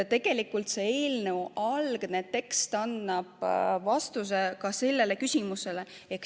Tegelikult eelnõu algne tekst annab vastuse ka sellele küsimusele.